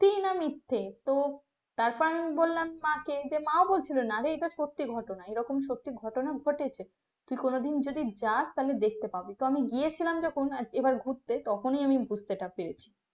সত্যি না মিথ্যে তো তারপর বললাম আমি মাকে, যে মাও বলছিল না যে এটা সত্যি ঘটনা এই রকম সত্যি ঘটনা ঘটেছে কি কোনদিন যদি যাস তাহলে দেখতে পাবি তো আমি গিয়েছিলাম যখন এবার ঘুরতে তখনই আমি বুঝতে টা পেরেছি।